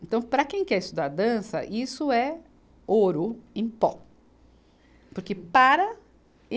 Então, para quem quer estudar dança, isso é ouro em pó, porque para e